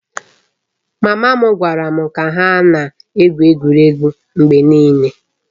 Mama m gwara m ka ha na-egwu egwuregwu mgbe niile